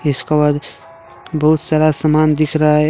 इसका बाद बहुत सारा समान दिख रहा है।